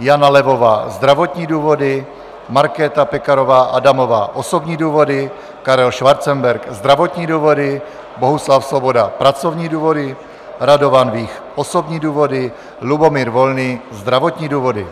Jana Levová - zdravotní důvody, Markéta Pekarová Adamová - osobní důvody, Karel Schwarzenberg - zdravotní důvody, Bohuslav Svoboda - pracovní důvody, Radovan Vích - osobní důvody, Lubomír Volný - zdravotní důvody.